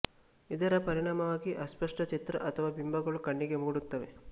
ಇದರ ಪರಿಣಾಮವಾಗಿ ಅಸ್ಪಷ್ಟ ಚಿತ್ರ ಅಥವಾ ಬಿಂಬಗಳು ಕಣ್ಣಿಗೆ ಮೂಡುತ್ತವೆ